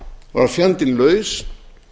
var fjandinn laus